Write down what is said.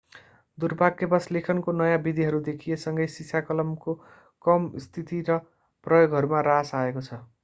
दुर्भाग्यवश लेखनको नयाँ विधिहरू देखिए सँगै सिसाकलमको कम स्थिति र प्रयोगहरूमा ह्रास आएको छ